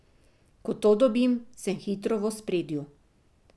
Ko to dobim, sem hitro v ospredju.